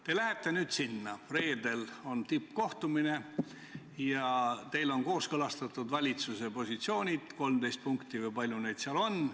Te lähete reedel tippkohtumisele ja teil on kooskõlastatud valitsuse positsioonid, 13 punkti või kui palju neid seal oligi.